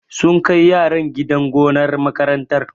Sun kai yaran gidan gonar makarantar.